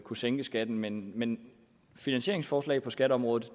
kunne sænke skatten men men finansieringsforslag på skatteområdet